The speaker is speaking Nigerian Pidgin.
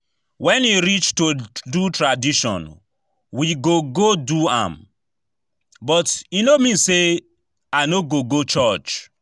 When e reach to do tradition we go go do am, but e no mean say I no go go church